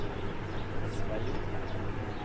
Sveio